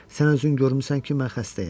Sən özün görmüsən ki, mən xəstəyəm.